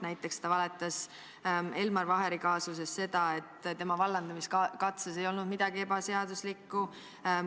Näiteks valetas ta Elmar Vaheri kaasuses selle kohta, et tema vallandamise katses ei olnud midagi ebaseaduslikku.